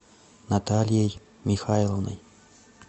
натальей михайловной